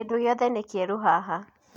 Kĩndũ gĩothe nĩ kĩerũ haha